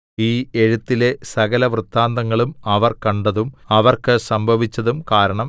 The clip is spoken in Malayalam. ഈ എഴുത്തിലെ സകലവൃത്താന്തങ്ങളും അവർ കണ്ടതും അവർക്ക് സംഭവിച്ചതും കാരണം